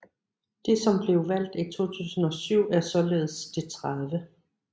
Det som blev valgt i 2007 er således det 30